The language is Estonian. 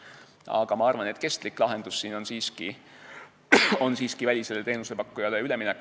Aga ma arvan, et kestlik lahendus siin on siiski välisele teenusepakkujale üleminek.